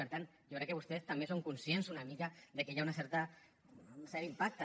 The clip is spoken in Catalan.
per tant jo crec que vostès també són conscients una mica que hi ha un cert impacte